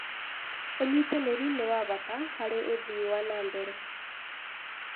Ũnyitanĩri nĩ wa bata harĩ ũthii wa na mbere